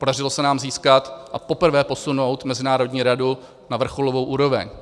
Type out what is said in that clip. Podařilo se nám získat a poprvé posunout mezinárodní radu na vrcholovou úroveň.